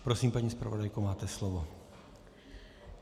Prosím, paní zpravodajko, máte slovo.